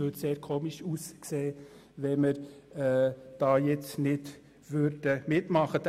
Da würde es sehr seltsam aussehen, wenn wir nicht mitmachen würden.